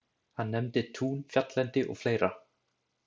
Hann nefndi tún, fjalllendi og fleira.